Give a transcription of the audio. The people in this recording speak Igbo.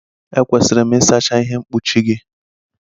Ekwesịrị m ịsacha ihe mkpuchi gị?